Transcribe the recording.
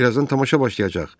Birazdan tamaşa başlayacaq.